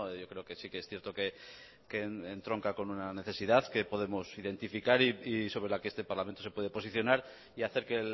yo creo que sí que es cierto que entronca con una necesidad que podemos identificar y sobre la que este parlamento se puede posicionar y hacer que